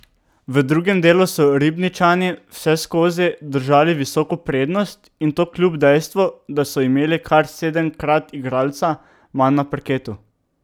V drugem delu so Ribničani vseskozi držali visoko prednost in to kljub dejstvu, da so imeli kar sedemkrat igralca manj na parketu.